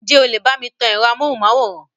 Ǹ jẹ́ o lè bá mi tan ẹ̀rọ amóhùnmáwòrán?